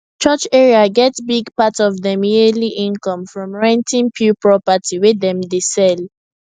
church area get big part of dem yearly income from renting pew property wey dem dey sell